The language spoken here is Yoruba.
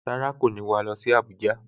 Rárá, kò ní wà á lọ sí Abuja